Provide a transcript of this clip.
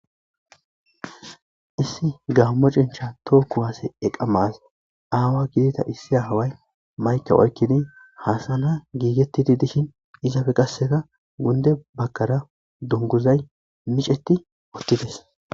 issi gaammo cincha tooku kuwaase eqamas aawa gidita issi away mayka oykkidi haasana giigettidi dishin izafe qasseta gunde bagkara dunguzay miceti ottides